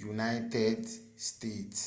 yunaịted steeti